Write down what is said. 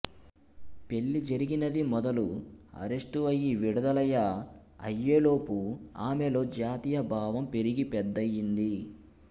పెళ్ళి జరిగినది మొదలు అరెస్టు అయ్యి విడదలయ అయ్యేలోపు ఆమెలో జాతీయ భావం పెరిగి పెద్దయ్యింది